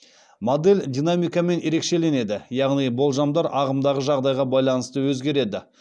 модель динамикамен ерекшеленеді яғни болжамдар ағымдағы жағдайға байланысты өзгереді